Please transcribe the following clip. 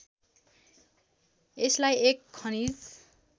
यसलाई एक खनिज